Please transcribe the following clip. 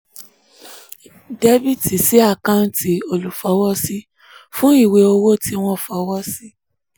dr sí àkáǹtì olúfọwọ́sí fún ìwé owó tí wọ́n fọwọ́ sí